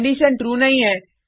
condition true नहीं है